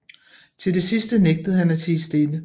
Til det sidste nægtede han at tie stille